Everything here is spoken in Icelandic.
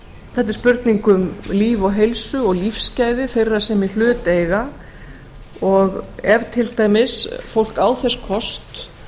er spurning um líf og heilsu og lífsgæði þeirra sem í hlut eiga og ef til dæmis fólk á þess kost